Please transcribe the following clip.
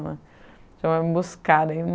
né. Ela foi me buscar. Daí